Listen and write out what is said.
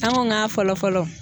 An ko k'a fɔlɔ fɔlɔ.